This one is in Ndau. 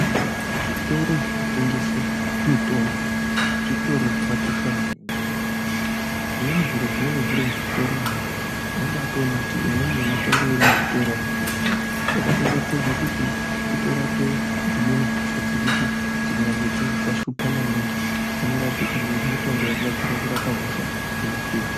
Zvitoro zvinotengese mitombo ,zvitoro zvakakosha maningizvimweni zviro zvinenge zviri muzvitoro umu unobaatoone kuti imweni yemitombo iri muzvitoro yakatogadzirwe kutibitorape dzimweni hosha dzekuti dzikanyangwe dzazi dzashupha maningi, dzinorapika ngemitombo yakagadzirwa kurapa hosha dzinoshupha.